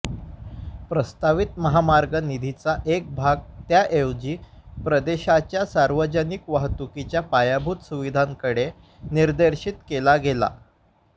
प्रस्तावित महामार्ग निधीचा एक भाग त्याऐवजी प्रदेशाच्या सार्वजनिक वाहतुकीच्या पायाभूत सुविधांकडे निर्देशित केला गेला